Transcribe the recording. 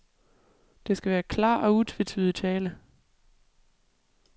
Det skal være klar og utvetydig tale.